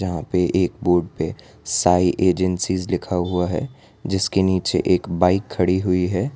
यहां पर एक बोर्ड पे साइ एजेंसीज लिखा हुआ है जिसके नीचे एक बाइक खड़ी हुई है।